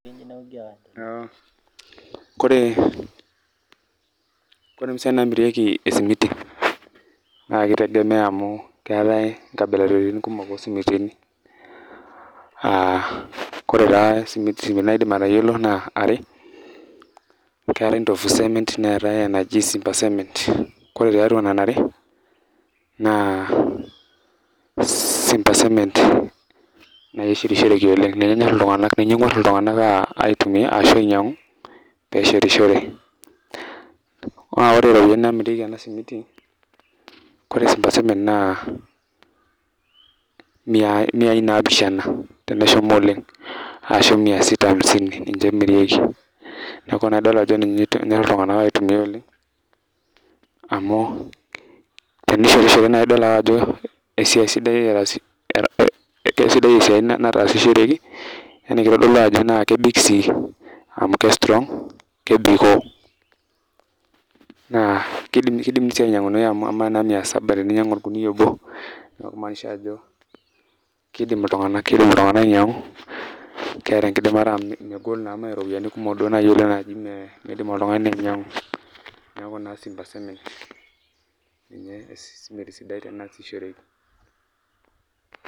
Kore, kore impisai namirieki esimiti naa ki tegemea amu keetae inkabilaritin kumok osimitini, ah kore taa esimiti naidim atayiolo naa are, keetae ndofu cement, neetae enaji simba cement. Kore tiatua nena are, naa simba cement nai eshetishereki oleng. Ninye enyor iltung'anak, ninye eng'uer iltung'anak aitumia ashu ainyang'u, peshetishore. Na ore iropiyiani namirieki ena simiti, kore simba cement, miai naapishana teneshomo oleng. Ashu mia sita amisini, ninche emirieki. Neeku na idol ajo ninye enyor iltung'anak aitumia oleng, amu tenishetishore na idol ake ajo esiai sidai, kesidai esiai nataasishoreki, yani kitodolu ajo naa kebik si, amu ke strong, kebikoo. Naa kidimi si ainyang'unoyu amu amaa naa mia saba teninyang'u orkuniyia obo, neeku kimaanisha ajo kidim iltung'anak ainyang'u, keeta enkidimata amu megol naa me ropiyiani kumok nai oleng naji midim oltung'ani ainyang'u, neeku naa simba cement ninye esimiti sidai teneasishoreki.